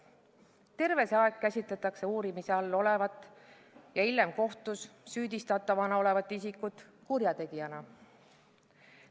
Terve see aeg käsitletakse uurimise all olevat ja hiljem kohtus süüdistatavana olevat isikut kurjategijana.